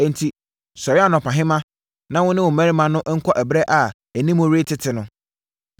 Enti, sɔre anɔpahema, na wo ne wo mmarima no nkɔ ɛberɛ a animu retete no.”